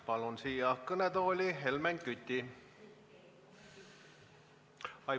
Palun siia kõnetooli Helmen Küti.